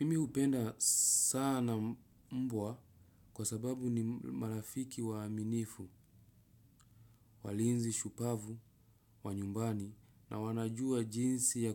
Mimi upenda sana mbwa kwa sababu ni marafiki waaminifu. Walinzi shupavu wa nyumbani na wanajua jinsi ya